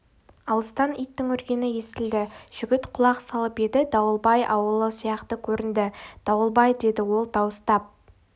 алыстан иттің үргені естілді жігіт құлақ салып еді дауылбай ауылы сияқты көрінді дауылбай деді ол дауыстап